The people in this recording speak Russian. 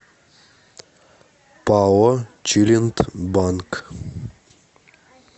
пао челиндбанк